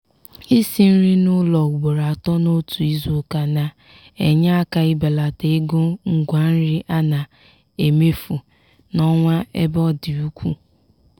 isi nri n´ụlọ ugboro atọ n'otu izuụka na-enye aka ibelata ego ngwa nri a na-emefu n'ọnwa ebe ọ dị ukwuu.